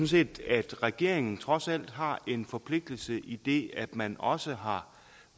set at regeringen trods alt har en forpligtelse idet man også har